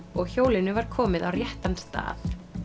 og hjólinu var komið á réttan stað